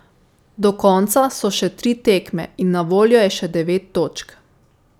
Do konca so še tri tekme in na voljo je še devet točk.